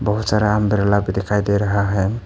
बहुत सारा अंब्रेला भी दिखाई दे रहा है।